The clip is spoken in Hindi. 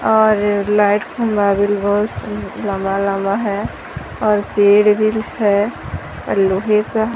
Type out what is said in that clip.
और लाइट व्हील बहोत सा लंबा लंबा है और पेड़ भी है और लोहे का--